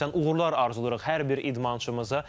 Uğurlar arzulayırıq hər bir idmançımıza.